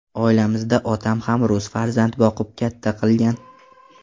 Oilamizda otam ham rus farzand boqib katta qilgan.